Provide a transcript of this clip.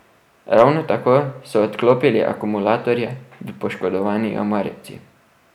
Ravno tako so odklopili akumulatorje v poškodovani omarici.